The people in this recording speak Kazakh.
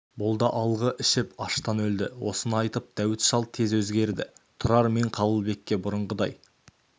бұл да алғы ішіп аштан өлді осыны айтып дәуіт шал тез өзгерді тұрар мен қабылбекке бұрынғыдай